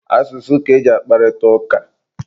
Asụsụ ka eji akparịta ụka.